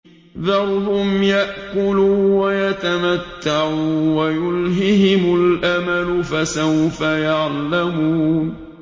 ذَرْهُمْ يَأْكُلُوا وَيَتَمَتَّعُوا وَيُلْهِهِمُ الْأَمَلُ ۖ فَسَوْفَ يَعْلَمُونَ